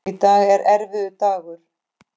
Í dag er erfiður dagur.